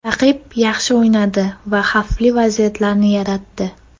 Raqib yaxshi o‘ynadi va xavfli vaziyatlarni yaratdi.